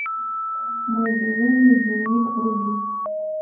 мой безумный дневник вруби